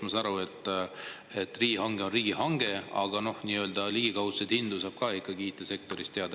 Ma saan aru, et riigihange on riigihange, aga ligikaudseid hindu saab ikkagi IT-sektoris teada.